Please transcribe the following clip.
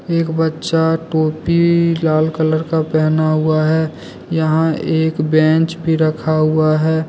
एक बच्चा टोपी लाल कलर का पहना हुआ है यहां एक बेंच भी रखा हुआ है।